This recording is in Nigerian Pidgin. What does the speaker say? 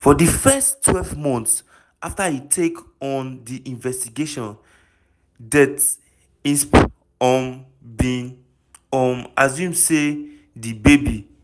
for di first twelve months afta e take on di investigation det insp humm bin um assume say di baby